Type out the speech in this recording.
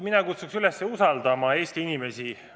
Mina kutsun üles usaldama Eesti inimesi.